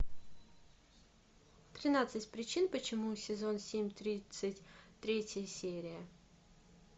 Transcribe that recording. тринадцать причин почему сезон семь тридцать третья серия